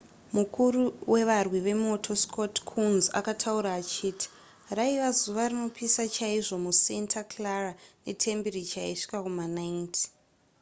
mukuru wevarwi vemoto scott kouns akataura achiti raiva zuva rinopisa chaizvo musanta clara netembiricha yaisvika kuma90